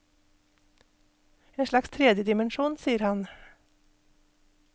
En slags tredje dimensjon, sier han.